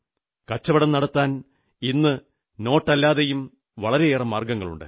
കച്ചവടം നടത്താൻ ഇന്ന് നോട്ടല്ലാതെയും വളരെയേറെ മാർഗ്ഗങ്ങളുണ്ട്